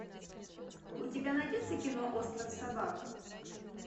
у тебя найдется кино остров собак